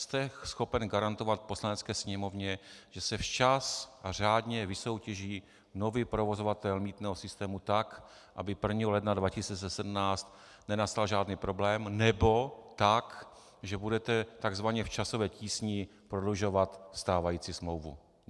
Jste schopen garantovat Poslanecké sněmovně, že se včas a řádně vysoutěží nový provozovatel mýtného systému tak, aby 1. ledna 2017 nenastal žádný problém, nebo tak, že budete tzv. v časové tísni prodlužovat stávající smlouvu?